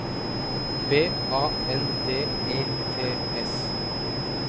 B A N D E T S